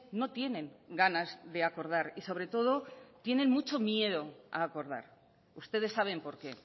no tienen ganas de acordar y sobre todo tienen mucho miedo a acordar ustedes saben por qué